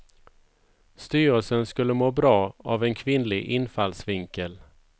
Styrelsen skulle må bra av en kvinnlig infallsvinkel.